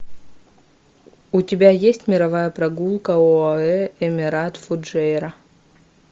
у тебя есть мировая прогулка оаэ эмират фуджейра